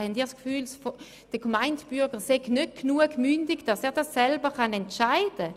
Haben Sie das Gefühl, der gemeine Bürger sei nicht ausreichend mündig, um selber zu entscheiden?